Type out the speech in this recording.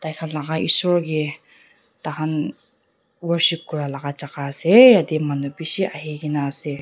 taikhan laga isor ke tahan worship kuralaga jagah ase yatey manu bishi ahigena ase.